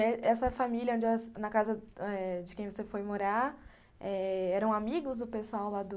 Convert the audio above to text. Essa essa família onde, na casa eh de quem você foi morar, eram amigos do pessoal lá do...